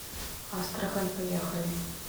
астрахань поехали